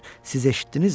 Siz eşitdinizmi?